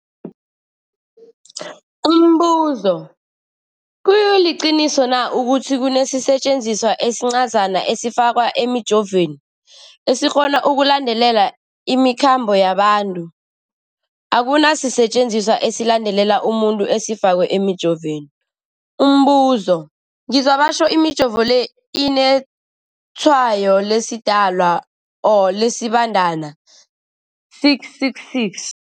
Umbuzo, kuliqiniso na ukuthi kunesisetjenziswa esincazana esifakwa emijovweni, esikghona ukulandelela imikhambo yabantu? Akuna sisetjenziswa esilandelela umuntu esifakwe emijoveni. Umbuzo, ngizwa batjho imijovo le inetshayo lesiDalwa or lesiBandana 666.